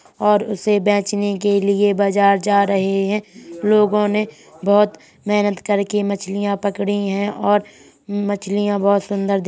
और उसे बेचने के लिए बाजार जा रहे हैं | लोगों ने बहुत मेहनत करके मछलियां पकड़ी है और मछलियां बहुत सुंदर दिख --